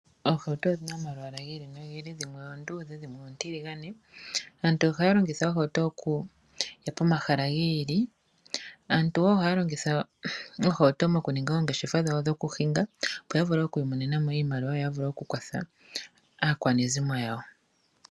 Oohauto odhina omalwaala gi ili nogi ili, dhimwe oonduudhe na dhimwe oontiligane. Aantu ohaa longitha oohauto okuya pomahala gi ili, aantu ohaa longitha wo oohauto moku ninga oongeshefa dhawo dhoku hinga, opo ya vule okumona mo iimaliwa yo vule okukwatha aakwanezimo yawo.